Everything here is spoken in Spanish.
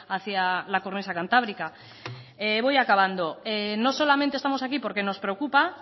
hacia la cornisa cantábrica voy acabando no solamente estamos aquí porque nos preocupa